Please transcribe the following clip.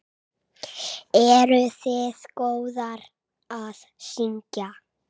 Eruð þið góðar að syngja?